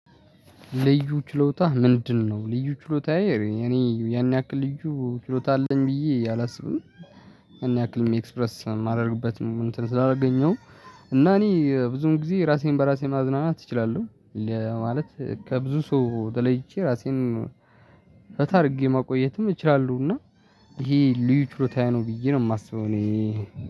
ልዩ ችሎታ ምንድነው? ልዩ ችሎታዬ እኔ ያን ያክል ልዩ ችሎታ አለኝ ብዬ አላስብም። እኔ ያክል ኤክስፕረስ የማደርግበት እንትን ስላላገኘው እና እኔ ብዙን ጊዜ ራሴን በራሴ ማዝናናት እችላለሁ። ማለት ከብዙ ሰው ተለይቼ ራሴን ፈታ አድርጌ ማቆየትም እችላለሁና። ይሄ ልዩ ችሎታ ነው ብዬ ነው የማስበው። እኔ